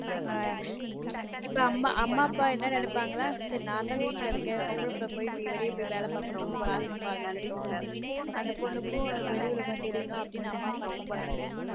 ஆஹ் இப்ப அம்மா அப்பா என்ன நெனைப்பங்க நான் தான் வீட்ல இருக்கன் பொம்பள பிள்ள போய் வெளிய போய் வேல பாக்கட்டும் காசு சம்பாதிக்கட்டும் அந்த பொன்னுக்கும் வெளி உலகம் தெரியனும்னு அம்மா அப்பா நெனைக்குறாங்க